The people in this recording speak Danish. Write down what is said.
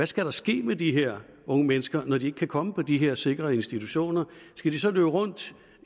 skal ske med de her unge mennesker når de ikke kan komme på de her sikrede institutioner skal de så løbe rundt